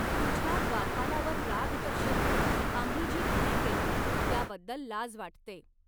तुझ्या द्वारपालावर राग दर्शवून आम्ही जी घाई केली, त्याबद्दल लाज वाटते.